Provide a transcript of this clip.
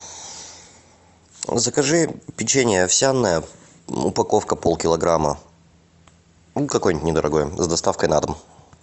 закажи печенье овсяное упаковка полкилограмма ну какое нибудь недорогое с доставкой на дом